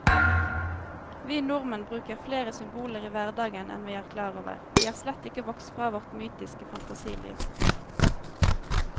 Vi nordmenn bruker flere symboler i hverdagen enn vi er klar over, vi er slett ikke vokst fra vårt mytiske fantasiliv.